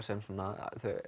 sem þau